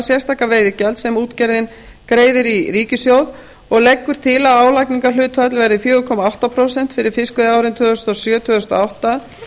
sérstaka veiðigjald sem útgerðin greiðir í ríkissjóð og leggur til að álagningarhlutfall verði fjögur komma átta prósent fyrir fiskveiðiárin tvö þúsund og sjö tvö þúsund og átta